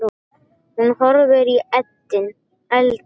Hún horfði í eldinn.